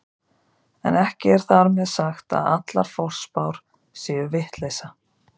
En ekki er þar með sagt að allar forspár séu vitleysa.